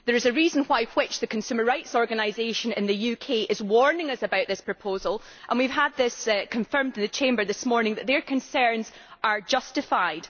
There is a reason why the consumer rights organisation in the UK, is warning us about this proposal and we have had it confirmed in the Chamber this morning that their concerns are justified.